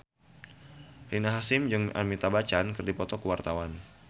Rina Hasyim jeung Amitabh Bachchan keur dipoto ku wartawan